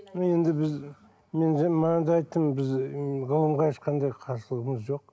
мен енді біз бағана да айттым біз ғылымға ешқандай қарсылығымыз жоқ